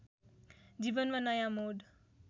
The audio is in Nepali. जीवनमा नयाँ मोड